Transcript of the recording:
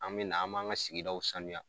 An bɛ na an b'an ka sigidaw sanuya